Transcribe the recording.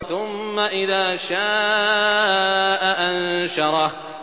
ثُمَّ إِذَا شَاءَ أَنشَرَهُ